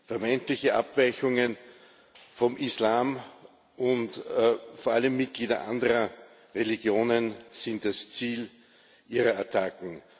Vermeintliche Abweichungen vom Islam und vor allem Mitglieder anderer Religionen sind das Ziel ihrer Attacken.